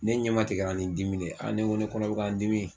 Ne ɲɛmatigɛra ni dimi de ye, ne ko ne kɔnɔ bɛ ka n dimi